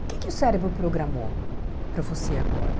O que que o cérebro programou para você agora?